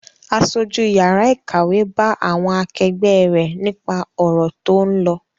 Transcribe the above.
Aṣojú yàrá ìkàwé bá àwọn akẹgbẹ́ rẹ̀ nípa ọ̀rọ̀ tó ń lọ.